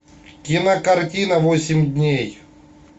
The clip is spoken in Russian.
кинокартина восемь дней